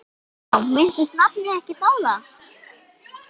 Já, minntist nafni ekkert á það?